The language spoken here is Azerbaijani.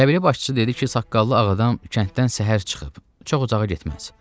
Qəbilə başçısı dedi ki, saqqallı ağ adam kənddən səhər çıxıb, çox uzağa getməz.